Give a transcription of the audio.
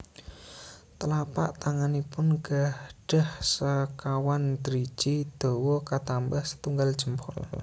Telapak tanganipun gahdhah sekawan driji dawa katambah setunggal jempol